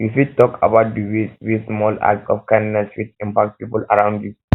you fit talk about di ways wey small acts of kindness fit impact people around you